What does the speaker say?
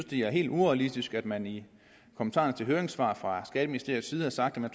det er helt urealistisk at man i kommentarerne til høringssvarene fra skatteministeriets side har sagt at man